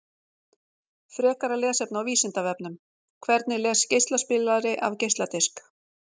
Frekara lesefni á Vísindavefnum: Hvernig les geislaspilari af geisladisk?